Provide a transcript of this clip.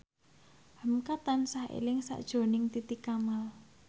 hamka tansah eling sakjroning Titi Kamal